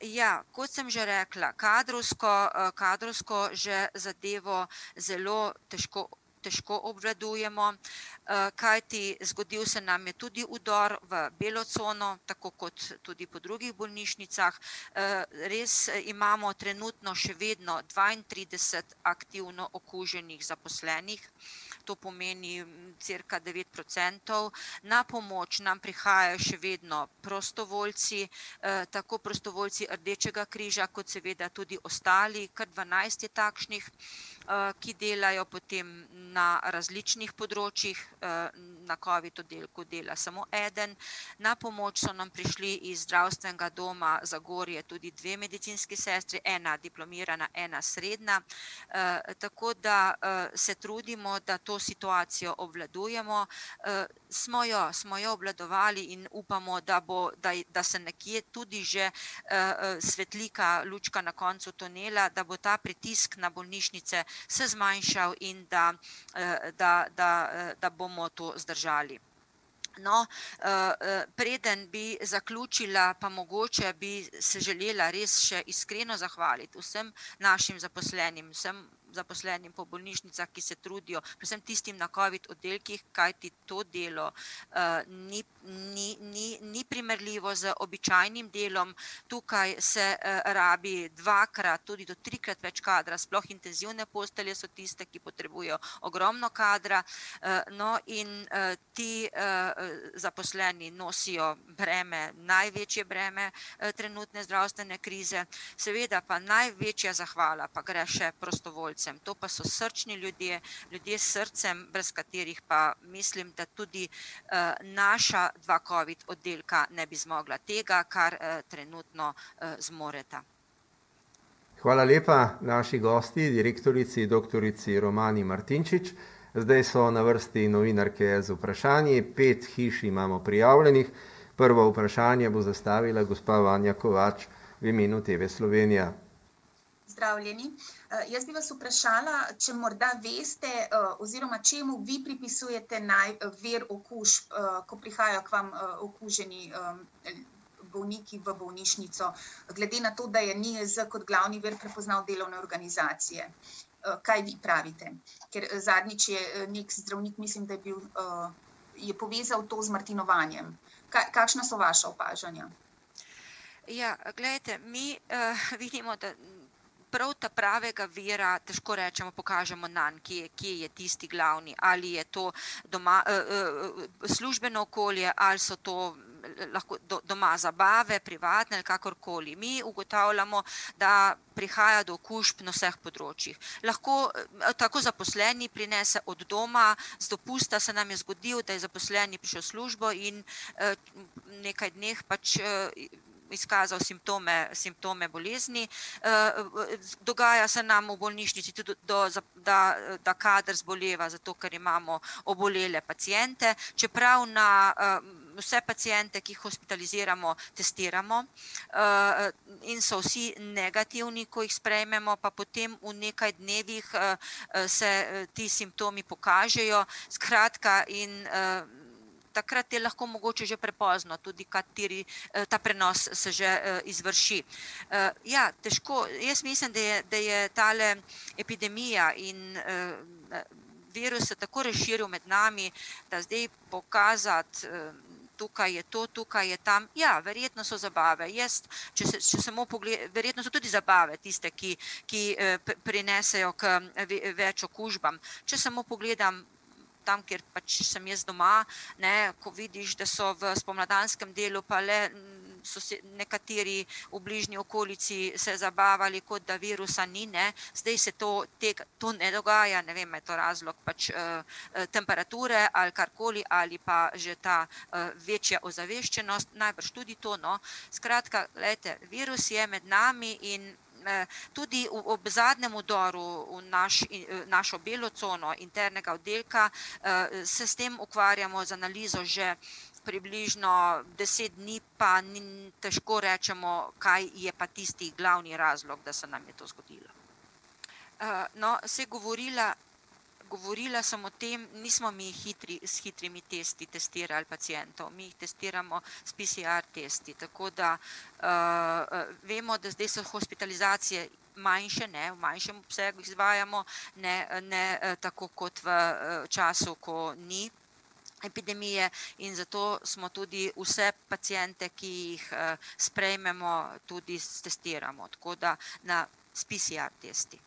ja. Kot sem že rekla, kadrovsko, kadrovsko že zadevo zelo težko, težko obvladujemo, kajti zgodil se nam je tudi vdor v belo cono, tako kot tudi po drugih bolnišnicah. res imamo trenutno še vedno dvaintrideset aktivno okuženih zaposlenih, to pomeni cirka devet procentov. Na pomoč nam prihajajo še vedno prostovoljci, tako prostovoljci Rdečega križa kot seveda tudi ostali, kar dvanajst je takšnih, ki delajo potem na različnih področjih, na covid oddelku dela samo eden. Na pomoč so nam prišli iz Zdravstvenega doma Zagorje tudi dve medicinski sestri, ena diplomirana, ena srednja, tako da se trudimo, da to situacijo obvladujemo, smo jo, smo jo obvladovali, in upamo, da bo, da da se nekje tudi že svetlika lučka na koncu tunela, da bo ta pritisk na bolnišnice se zmanjšal in da da, da, da bomo to zdržali. No, preden bi zaključila, pa mogoče bi se želela res še iskreno zahvaliti vsem našim zaposlenih, vsem zaposlenim po bolnišnicah, ki se trudijo, predvsem tistim na covid oddelkih, kajti to delo ni, ni, ni, ni primerljivo z običajnim delom, tukaj se rabi dvakrat, tudi do trikrat več kadra, sploh intenzivne postelje so tiste, ki potrebujejo ogromno kadra, no, in ti zaposleni nosijo breme, največje breme trenutne zdravstvene krize. Seveda pa največja zahvala pa gre še prostovoljcem. To pa so srčni ljudje, ljudje s srcem, brez katerih pa, mislim, da tudi naša dva covid oddelka ne bi zmogla tega, kar trenutno zmoreta. Ja, glejte, mi vidimo, da prav ta pravega vira ... Težko rečemo, pokažemo, nanj kje, kje, je tisti glavni. Ali je to doma, službeno okolje ali so to lahko doma zabave, privatne ali kakorkoli. Mi ugotavljamo, da prihaja do okužb na vseh področjih. Lahko tako zaposleni prinese od doma, z dopusta se nam je zgodilo, da je zaposleni prišel v službo in v nekaj dneh pač izkazal simptome, simptome bolezni. dogaja se nam v bolnišnici tudi da, da kader zboleva, zato ker imamo obolele paciente, čeprav na vse paciente, ki jih hospitaliziramo, testiramo. in so vsi negativni, ko jih sprejmemo, pa potem v nekaj dnevih se ti simptomi pokažejo, skratka, in takrat je lahko mogoče že prepozno, tudi kateri ... ta prenos se že izvrši. ja, težko. Jaz mislim, da je, da je tale epidemija in virus se tako razširil med nami, da zdaj pokazati, tukaj je to, tukaj je ta ... Ja, verjetno so zabave jaz, če če samo verjetno so tudi zabave tiste, ki ki prinesejo ke več okužbam. Če samo pogledam tam, kjer pač sem jaz doma, ne, ko vidiš, da so v spomladanskem delu pa le so se nekateri v bližnji okolici se zabavali, kot da virusa ni, ne, zdaj se to to ne dogaja, ne vem, a je to razlog, pač temperature ali karkoli ali pa že ta večja ozaveščenost, najbrž tudi to, no. Skratka, glejte, virus je med nami in tudi ob zadnjm vdoru v našo belo ceno internega oddelka se s tem ukvarjamo z analizo že približno deset dni, pa težko rečemo, kaj je pa tisti glavni razlog, da se nam je to zgodilo. no, saj govorila, govorila sem o tem, nismo mi s hitrimi testi testirali pacientov, mi jih testiramo s PCR-testi, tako da vemo, da zdaj so hospitalizacije manjše, ne, v manjšem obsegu jih izvajamo ne, ne tako kot v času, ko ni epidemije, in zato smo tudi vse paciente, ki jih sprejmemo, tudi stestiramo, tako da na s PCR-testi. mi,